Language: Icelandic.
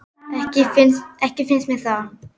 Ekki finnst mér það.